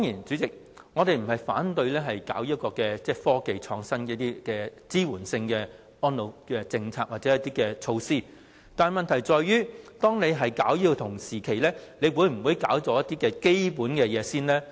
主席，我們當然不是反對推行科技創新以支援安老政策或措施，但問題在於推行此方面的同時，應否先推行一些基本工作呢？